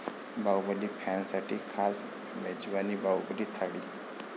बाहुबली फॅन्ससाठी खास मेजवानी 'बाहुबली थाळी'